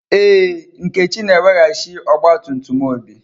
Ee, Nkechi na-eweghachi ọgba tum tum Obi.